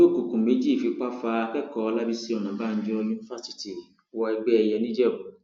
ọmọ ẹgbẹ òkùnkùn méjì fipá fa akẹkọọ ọlábiṣí ọnàbànjọ yunifásitì wọ ẹgbẹ ẹyẹ ńìjẹbù